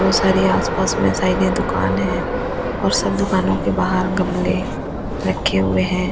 वो सारी आसपास में शायद ये दुकान है और सब दुकानों के बाहर गमले रखे हुए हैं।